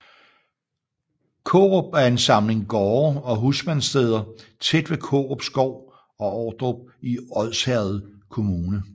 Kårup er en samling gårde og husmandssteder tæt ved Kårup Skov og Ordrup i Odsherred Kommune